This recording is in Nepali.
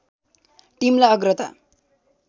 टिमलाई अग्रता